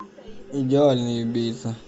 идеальный убийца